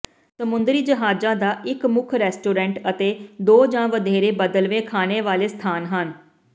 ਸਮੁੰਦਰੀ ਜਹਾਜ਼ਾਂ ਦਾ ਇਕ ਮੁੱਖ ਰੈਸਟੋਰੈਂਟ ਅਤੇ ਦੋ ਜਾਂ ਵਧੇਰੇ ਬਦਲਵੇਂ ਖਾਣੇ ਵਾਲੇ ਸਥਾਨ ਹਨ